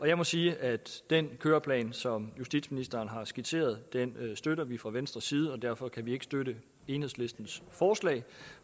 jeg må sige at den køreplan som justitsministeren har skitseret støtter vi fra venstres side og derfor kan vi ikke støtte enhedslistens forslag